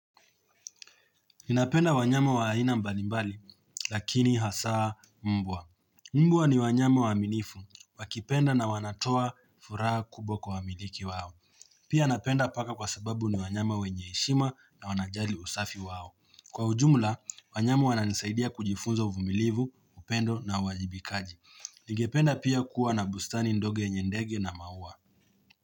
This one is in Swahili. Ninapenda wanyama wa haina mbalimbali, lakini hasaa mbwa. Mbwa ni wanyama wa aminifu, wakipenda na wanatoa furaha kubwa kwa amiliki wao. Pia napenda paka kwa sababu ni wanyama wenyeheshima na wanajali usafi wao. Kwa ujumla, wanyama wana nisaidia kujifunza uvumilivu, upendo na wajibikaji. Nigependa pia kuwa na bustani ndege na maua.